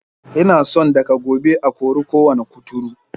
Ina son daga gobe a kori kowane kuturu.